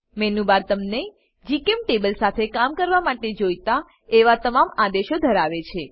menu bar તમને જીચેમ્ટેબલ સાથે કામ કરવા માટે જોઈતા એવા તમામ આદેશો ધરાવે છે